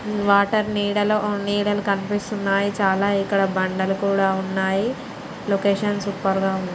Water నీడలో ఆ నీడలు కనిపిస్తున్నాయ్ .చాలా ఇక్కడ బండలు కూడా ఉన్నాయ్. లొకేషన్ సూప్ గా ఉంది.